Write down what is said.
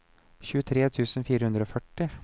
tjuetre tusen fire hundre og førti